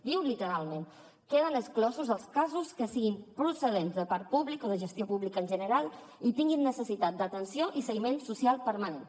diu literalment queden exclosos els casos que siguin procedents de parc públic o de gestió pública en general i tinguin necessitat d’atenció i seguiment social permanent